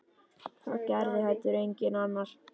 Það gerði heldur enginn annar.